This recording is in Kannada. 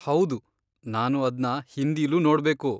ಹೌದು, ನಾನು ಅದ್ನ ಹಿಂದಿಲೂ ನೋಡ್ಬೇಕು.